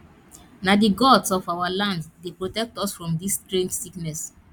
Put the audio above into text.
na di gods of our land dey protect us from dis strange sickness